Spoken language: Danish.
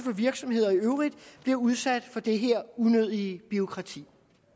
virksomheder i øvrigt bliver udsat for det her unødige bureaukrati